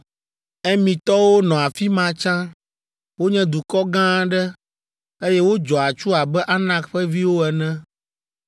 “Emitɔwo nɔ afi ma tsã. Wonye dukɔ gã aɖe, eye wodzɔ atsu abe Anak ƒe viwo ene.